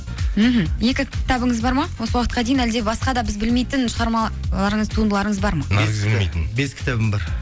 мхм екі кітабыңыз бар ма осы уақытқа дейін әлде басқа да біз білмейтін шығармалырыңыз туындыларыңыз бар ма бес кітабым бар